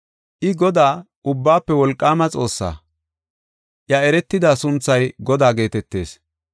I Godaa, Ubbaafe Wolqaama Xoossaa. Iya eretida sunthay Godaa geetetees.